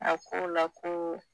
A ko a la ko